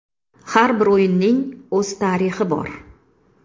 Har bir o‘yinning o‘z tarixi bor.